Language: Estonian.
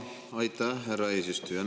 Aitäh, härra eesistuja!